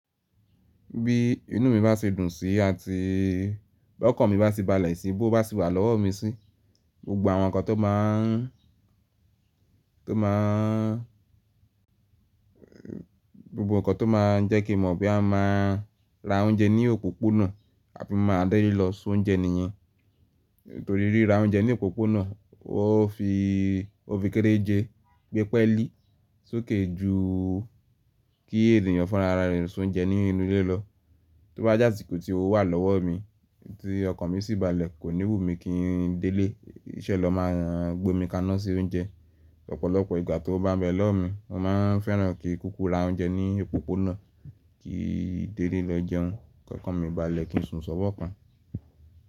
Bí inú mi bá ṣe dùn síi àti bi ọkàn mi bá ṣe balẹ̀ sí i, bówo bá se wà lọ́wọ́ mi sí, gbogbo àwọn nǹkan tó máa ń, tó máa ń, gbogbo nǹkan tó máa ń jẹ́ kí mọ̀ bí a ma ra oúnjẹ ní òpópónà àbi máa dẹ́rí lọ se oúnjẹ nìyẹn. Torí ríra oúnjẹ ní òpópónà wọ́n fi, ó fi kéréje gbé pẹ́lí soke jù kí ènìyàn fun ara rẹ̀ se oúnjẹ nínú ilé lọ. Tó bá je asìko tí owo wà lọ́wọ́ mi tí ọkàn mi sì balẹ̀, kò ní wù mí kí n dẹ́lẹ̀, kiṣẹ́ lọ máa gbé omi kaná síí oúnjẹ. Ọ̀pọ̀lọpọ̀ ìgbà tówo bá n bẹ lọ́wọ́ mi, mo máa ń fẹ́ràn kí kúkú ra oúnjẹ ní òpópónà kí n dẹ́le lọ jẹun, k'ọkàn mi bá le kí n sùn ṣówo kan.